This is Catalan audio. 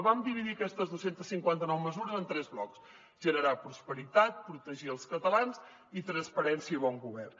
vam dividir aquestes dos cents i cinquanta nou mesures en tres blocs generar prosperitat protegir els catalans i transparència i bon govern